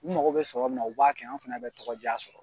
U mago bɛ sɔrɔ min na, u b'a kɛ, anw fɛnɛ bi tɔgɔ ja sɔrɔ